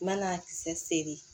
N ma n'a kisɛ seri